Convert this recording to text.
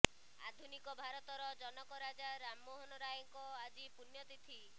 ଆଧୁନିକ ଭାରତର ଜନକ ରାଜା ରାମ ମୋହନ ରାୟଙ୍କ ଆଜି ପୁଣ୍ୟ ତିଥି